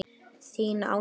Þín, Áslaug.